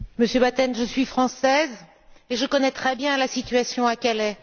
Monsieur Batten, je suis française et je connais très bien la situation à Calais.